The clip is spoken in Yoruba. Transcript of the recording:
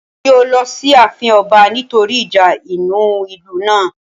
Wọn yóò lọ sí àfin ọba nítorí ìjà inú ìlú náà